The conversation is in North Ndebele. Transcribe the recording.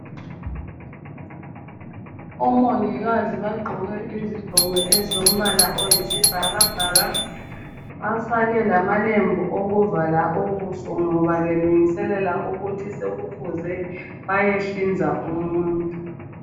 OMongikazi baqgoke iziqgoko ezombala oyisibhakabhaka, bafake lamalembu okuvala ubuso ngoba belungiselela ukuthi sekufuze bayehlinza umuntu.